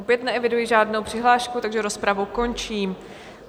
Opět neeviduji žádnou přihlášku, takže rozpravu končím.